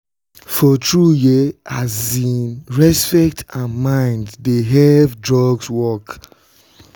you know say some people um dey use mind and drugs take well.